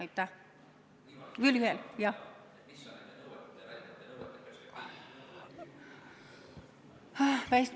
Kas oli veel küsimusi?